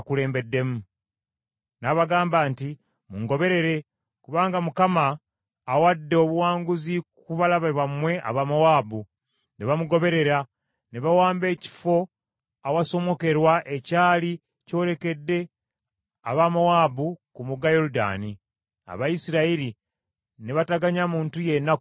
N’abagamba nti, “Mungoberere kubanga Mukama abawadde obuwanguzi ku balabe bammwe Abamowaabu.” Ne bamugoberera ne bawamba ekifo awasomokerwa ekyali kyolekedde aba Mowaabu ku mugga Yoludaani; Abayisirayiri ne bataganya muntu yenna kusomoka.